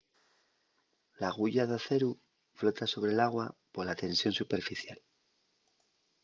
l'aguya d'aceru flota sobre l'agua pola tensión superficial